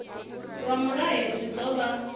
lwa mulayo zwi ḓo vha